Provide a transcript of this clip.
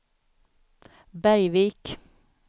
Bergvik